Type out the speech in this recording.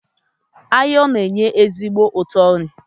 eyịm na-enye ezigbo ụtọ nri